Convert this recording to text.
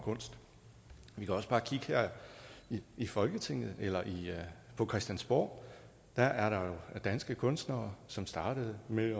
kunst vi kan også bare kigge her i folketinget eller på christiansborg der er der jo danske kunstnere som startede med